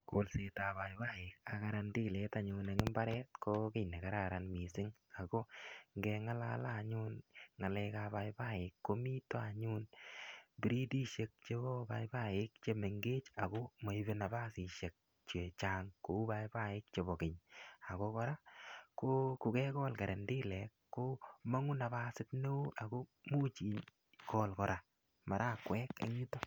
Kolset ap paipai ak karandelet en mbar ko ki ne kararan missing' ako nge ng'alale anyun ng'alek ap paipai ko mita anyun bredishek chepo paipai che mengech ako maipe napasishek che chang' kou paipaik chepo kenye. Ko kekol karandelet ko mang'u napasit ne oo ko much ikol kora marakwek en yutok.